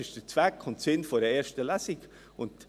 Dies ist Sinn und Zweck der ersten Lesung.